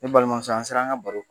Ne balimamuso, an ser'an ka baro